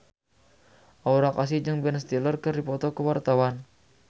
Aura Kasih jeung Ben Stiller keur dipoto ku wartawan